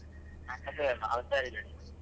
ನಾನ್ ಹುಷಾರಿದ್ದೇನೆ.